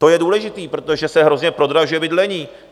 To je důležité, protože se hrozně prodražuje bydlení.